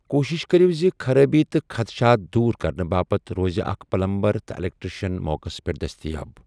كوٗشِش كریو زِ خرٲبی تہٕ خدشات دوٗر كرنہٕ باپت روزِ اكھ پلمبر تہٕ ایلیكٹرِشن موقس پیٹھ دستیاب ۔